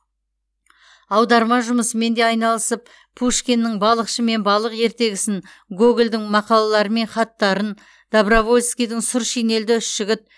аударма жұмысымен де айналысып пушкиннің балықшы мен балық ертегісін гогольдің мақалалары мен хаттарын добровольскийдің сұр шинельді үш жігіт